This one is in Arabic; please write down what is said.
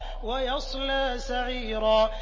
وَيَصْلَىٰ سَعِيرًا